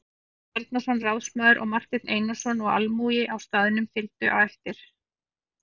Jón Bjarnason ráðsmaður og Marteinn Einarsson og almúgi á staðnum fylgdi á eftir.